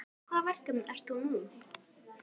Í hvaða verkefnum ert þú nú?